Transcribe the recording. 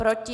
Proti?